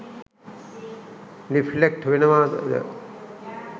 Reflect වෙනවද?